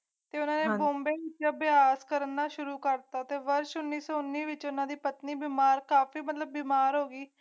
ਤੇ ਉਨ੍ਹਾਂ ਨੇ ਬੰਬਈ ਅਭਿਆਸ ਕਰਨ ਲਈ ਨਾ ਸ਼ੁਰੂ ਕਰ ਦਿਤਾ ਪਰ ਅਸ਼ਵਨੀ ਵਿਚ ਉਨ੍ਹਾਂ ਦੀ ਪਤਨੀ ਬਿਮਾਰ ਬੀਮਾਰ